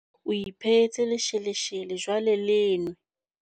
O iphehetse lesheleshele, jwale le nwe